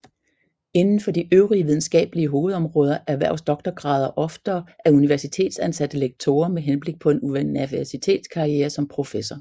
Inden for de øvrige videnskabelige hovedområder erhverves doktorgrader oftere af universitetsansatte lektorer med henblik på en universitetskarriere som professor